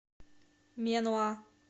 менуа